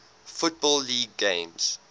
football league games